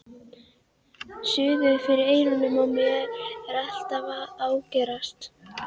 Suðið fyrir eyrunum á mér er alltaf að ágerast.